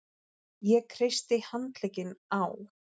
Ég kreisti handlegginn á